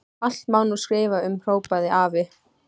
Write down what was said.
Allt má nú skrifa um, hrópaði afi.